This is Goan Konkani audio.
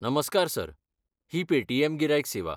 नमस्कार सर, ही पेटीएम गिरायक सेवा.